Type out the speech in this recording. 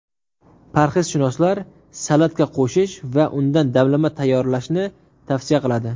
Parhezshunoslar salatga qo‘shish va undan damlama tayyorlashni tavsiya qiladi.